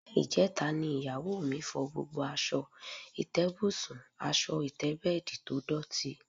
Alé̩ ìje̩ta ni ìyàwó mi fo̩ gbogbo as̩o̩ ìté̩bùsùn/as̩o̩ ìté̩bè̩è̩dì tó dòtí